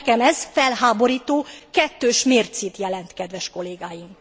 Nekem ez felháborító, kettős mércét jelent kedves kollégáim.